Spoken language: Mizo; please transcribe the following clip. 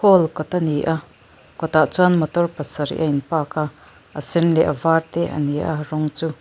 hall kawt a ni a kawtah chuan motor pasarih a in park a a sen leh a var te an ni a a rawng chu.